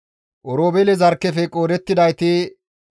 Oroobeele zarkkefe qoodettidayti 43,730.